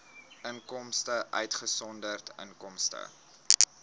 inkomste uitgesonderd inkomste